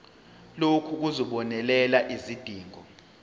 lokhu kuzobonelela izidingo